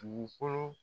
Dugukolo